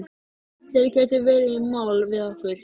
Þeir gætu farið í mál við okkur.